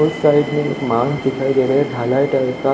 उस साइड में मान दिखाई दे रा ढाला टाइप का--